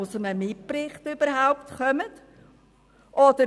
Augstburger hat sich gemeldet.